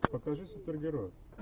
покажи супергерой